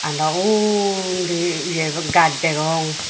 ado undi ye gaaj degong.